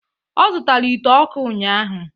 Ọ zụtara ite ọkụ ụnyahụ